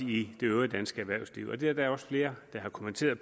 i det øvrige danske erhvervsliv det er der da også flere der har kommenteret